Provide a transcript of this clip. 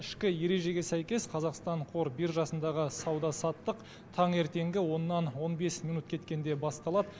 ішкі ережеге сәйкес қазақстан қор биржасындағы сауда саттық таңертеңгі оннан он бес минут кеткенде басталады